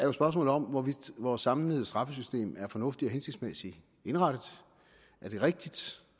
jo spørgsmålet om hvorvidt vores samlede straffesystem er fornuftigt og hensigtsmæssigt indrettet er det rigtigt